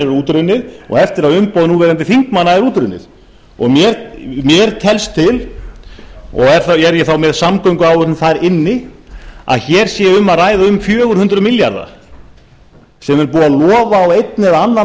útrunnið og eftir að umboð núverandi þingmanna er útrunnið mér telst til og er ég þá með samgönguáætlun þar inni að hér sé um að ræða um fjögur hundruð milljarða sem er búið að lofa á einn eða annan